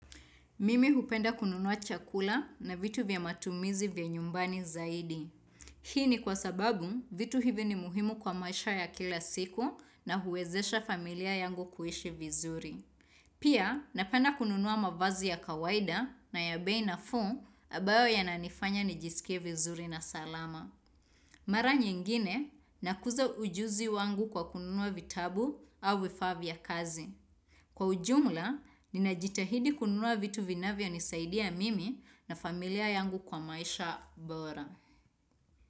Mimi hupenda kununua chakula na vitu vya matumizi vya nyumbani zaidi. Hii ni kwa sababu vitu hivi ni muhimu kwa maisha ya kila siku na huwezesha familia yangu kuhishi vizuri. Pia napenda kununua mavazi ya kawaida na ya bei nafuu ambayo yananifanya nijisikie vizuri na salama. Mara nyingine nakuza ujuzi wangu kwa kununua vitabu au vifaa vya kazi. Kwa ujumla, ninajitahidi kununua vitu vinavyonisaidia mimi na familia yangu kwa maisha bora.